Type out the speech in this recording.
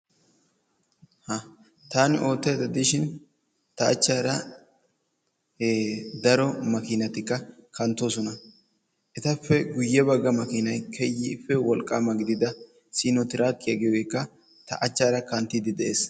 Ha taani oottayda diishin ta achchaara hee daro makkiinatikka kanttoosona. Etappe guyye bagga makkiinay keehippe wolqqaama gidida siino trakkiyaa giyogeekka ta achchaara kanttiidi de'ees.